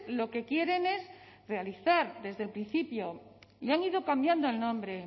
lo que quieren es realizar desde el principio y han ido cambiando el nombre